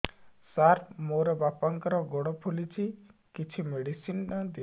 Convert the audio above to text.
ସାର ମୋର ବାପାଙ୍କର ଗୋଡ ଫୁଲୁଛି କିଛି ମେଡିସିନ ଦିଅନ୍ତୁ